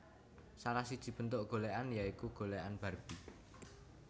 Salah siji bentuk golékan ya iku golékan barbie